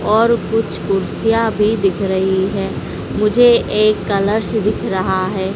और कुछ कुर्सियां भी दिख रही है मुझे ये कलर्स दिख रहा है।